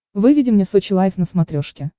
выведи мне сочи лайф на смотрешке